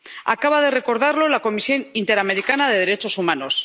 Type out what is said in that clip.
Acaba de recordarlo la Comisión Interamericana de Derechos Humanos.